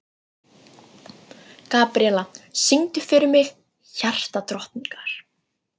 Gabríella, syngdu fyrir mig „Hjartadrottningar“.